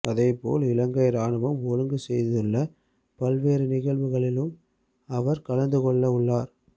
அதேபோல் இலங்கை இராணுவம் ஒழுங்கு செய்துள்ள பல்வேறு நிகழ்வுகளிலும் அவர் கலந்துக்கொள்ளவுள்ளார்